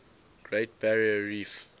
great barrier reef